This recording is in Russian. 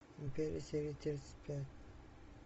империя серия тридцать пять